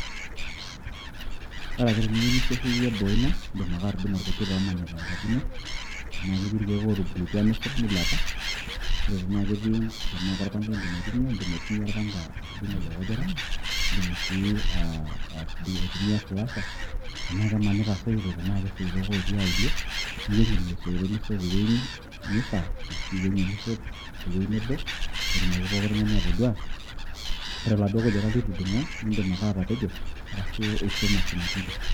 ore ake teniyieu nisiashayie boo ino, idim ake atudung'o irkujit loomanita enkaji ino tenaa ketii irkeek ootubulutua nisul milepa.or tena ketii korpanga idim aitumia, idim aitumia orpanga adung' ilo kujita, idim sii atudung'o aitumia slasher ,tenaa kemanita isoito, tenaa kesoitok otii auoluo, niwuang'ie lelo soito nisot te wueji nifaa ashu iwuang'ie nisot ye wueji nebo, pee etumoki pookin tung'ani atoduaa, ire oladuo kujita litudung'o, idima ake atapejo, ashu ishum ashumaki nkishu.